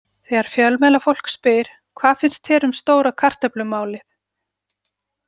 Þegar fjölmiðlafólkið spyr: Hvað finnst þér um stóra kartöflumálið?